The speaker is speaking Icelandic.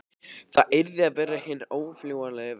Það yrði að vera hinn órjúfanlegi veggur.